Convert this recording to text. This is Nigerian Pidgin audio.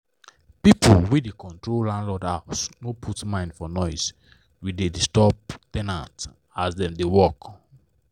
pipu wey da control landlord house no put mind for noise we da disturb ten ant as dem da work